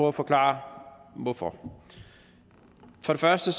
at forklare hvorfor for det første